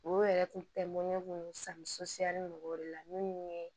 O yɛrɛ kun tɛ mun ɲɛ kun mɔgɔw de la minnu ye